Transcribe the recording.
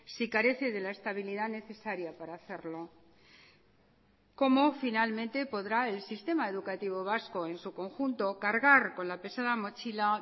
si carece de la estabilidad necesaria para hacerlo cómo finalmente podrá el sistema educativo vasco en su conjunto cargar con la pesada mochila